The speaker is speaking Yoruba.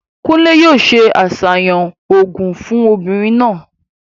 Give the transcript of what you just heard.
Kúnlè yóò se àsàyàn òògùn fún obìnrin náà.